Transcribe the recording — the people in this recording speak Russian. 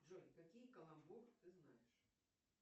джой какие колобок ты знаешь